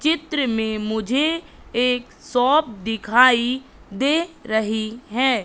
चित्र में मुझे एक शॉप दिखाई दे रही है।